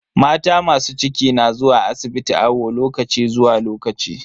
Mata masu ciki na zuwa asibiti awo lokaci zuwa lokaci.